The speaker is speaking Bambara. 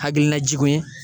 Hakilina jugu ye